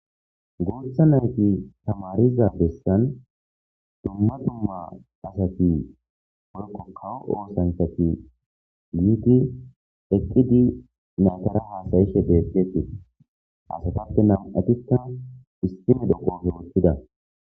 Gooththa nayti tamariza bessan dumma dumma asati porko kawo oosantati liiti eqqi di naytara haasayishe deetteti asatappe nam7atikka issine doqoofe wottida.